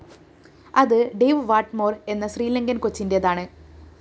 അത് Dave Whatmore‍ എന്ന ശ്രീലങ്കന്‍ കോച്ചിന്റേതാണ്